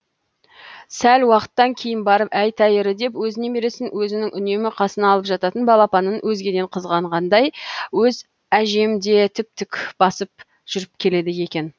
сәл уақыттан кейін барып әй тәйірі деп өз немересін өзінің үнемі қасына алып жататын балапанын өзгеден қызғанғандай өз әжем де тіп тік басып жүріп келеді екен